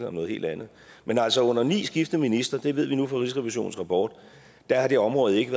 om noget helt andet men altså under ni skiftende ministre det ved vi nu fra rigsrevisionens rapport har det område ikke